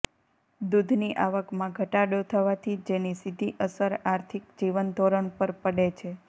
દૂધની આવકમાં ઘટાડો થવાથી જેની સીધી અસર આર્થિક જીવનધોરણ પર પડે છે